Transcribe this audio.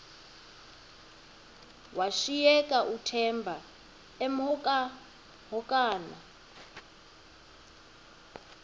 washiyeka uthemba emhokamhokana